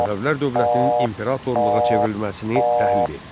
Səfəvilər dövlətinin imperatorluğa çevrilməsini təhlil et.